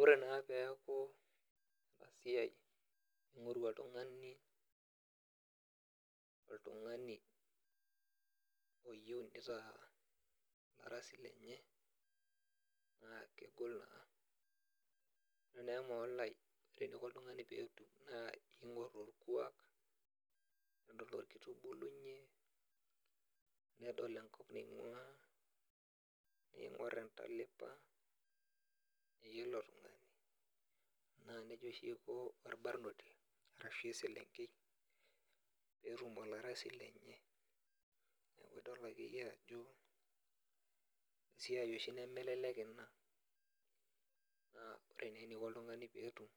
Ore naa peeku esiai ning'oru oltung'ani oltung'ani oyieu neitaa olarasi lenye ,naa kegol naa ore naa emaolai eneikoni oltung'ani pee etum naa keigor orkuak nidol orkitubulunye ,nedol enkop naiguaa pee eingor entalipa eilo tungani .naa nejia oshi eiko orbarnoti orashua eselenkei pee etum olarasi lenye nidolakeyie ajo esiai oshi nemelelek ina. naa ore naa eneikoni oltungani pee etum